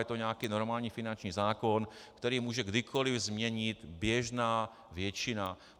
Je to nějaký normální finanční zákon, který může kdykoliv změnit běžná většina.